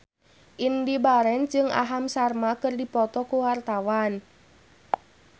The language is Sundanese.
Indy Barens jeung Aham Sharma keur dipoto ku wartawan